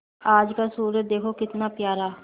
आज का सूर्य देखो कितना प्यारा